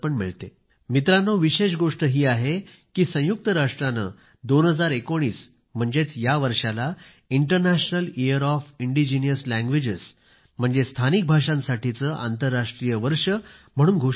मित्रांनो विशेष गोष्ट ही आहे की संयुक्त राष्ट्रांनी 2019 म्हणजेच या वर्षाला international year of indigenous languages स्थानिक भाषांसाठीचे आंतरराष्ट्रीय वर्ष म्हणून घोषित केले आहे